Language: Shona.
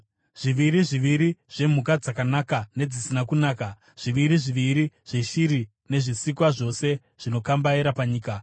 Zviviri zviviri zvemhuka dzakanaka nedzisina kunaka, zviviri zviviri zveshiri nezvezvisikwa zvose zvinokambaira panyika,